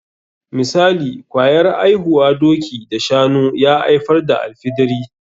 Misali, kwayar aihuwar doki da shanu ya aifar da alfidiri.